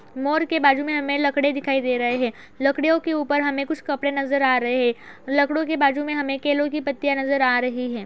मोर के बाजू में हमें लकड़े दिखाई दे रहे हैं। लकड़ियों के ऊपर हमें कुछ कपड़े नजर आ रहे हैं। लकड़ो के बाजू में हमें केलों की पत्तियां नजर आ रही है।